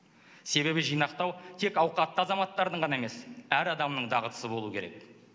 себебі жинақтау тек ауқатты азаматтардың ғана емес әр адамның дағдысы болуы керек